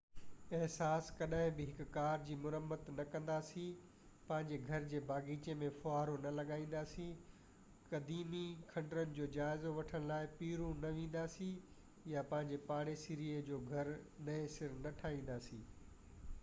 اساس ڪڏهن بہ هڪ ڪار جي مرمت نہ ڪنداسين پنهنجي گهر جي باغيچي ۾ ڦوهارو نہ لڳائينداسين قديمي کنڊرن جو جائزو وٺڻ لاءِ پيرو نہ وينداسين يا پنهنجي پاڙيسري جو گهر نئين سر نہ ٺاهينداسين